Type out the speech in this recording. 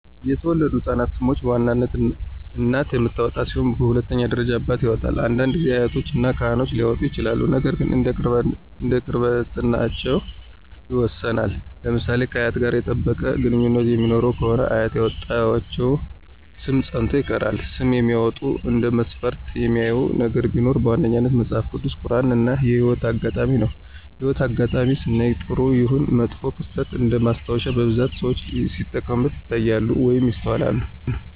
የተወለዱ ህፃናቶችን ሰም በዋናነት እናት የምታወጣ ሲሆን በሁለተኛ ደረጃ አባት ያወጣል፤ አንዳንድ ጊዜ አያቶች እና ካህኖች ሊያወጡ ይችላሉ ነገር ግን እንደ ቅርርብነታቸው ይወሰናል። ለምሳሌ ከአያት ጋር የጠበቀ ግንኙነት የሚኖራት ከሆነ አያት ያወጣችው ሰም ፀንቶ ይቀራል። ስም ሲያወጡ እንደ መስፈርት የሚያዩት ነገር ቢኖር በዋነኛነት መጸሐፍ ቅዱስ፣ ቁራን እና የህይወት አጋጣሜን ነው። የህይወት አጋጣሜን ስናይ ጥሩም ይሁን መጥፎ ክስተት እንደማስታወሻነት በብዛት ሰዎች ሲጠቀሙበት ይታያሉ ወይም ይስተዋላሉ።